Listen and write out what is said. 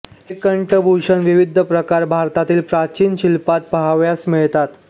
हे कंठभूषणातील विविध प्रकार भारतातील प्राचीन शिल्पात पहावयास मिळतात